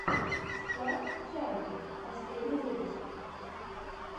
склад чайки последний выпуск